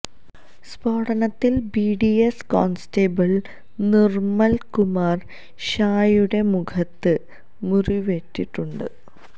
സ്ഫോടനത്തില് BDS constable Nirmal Kumar ഷായുടെ മുഖത്ത് മുറിവേറ്റിട്ടുണ്ട്